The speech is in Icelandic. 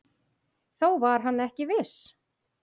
Þó var hann ekki viss.